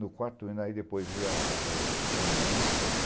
No quarto hino aí depois veio a a testemunhança.